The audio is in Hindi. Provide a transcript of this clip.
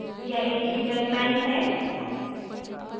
यह एक shebang line है